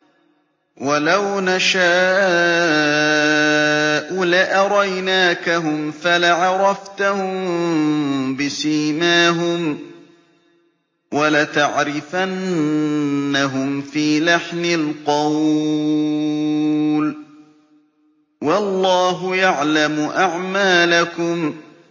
وَلَوْ نَشَاءُ لَأَرَيْنَاكَهُمْ فَلَعَرَفْتَهُم بِسِيمَاهُمْ ۚ وَلَتَعْرِفَنَّهُمْ فِي لَحْنِ الْقَوْلِ ۚ وَاللَّهُ يَعْلَمُ أَعْمَالَكُمْ